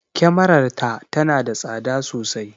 Kyamarar ta tana da tsada sosai.